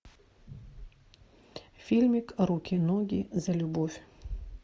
фильмик руки ноги за любовь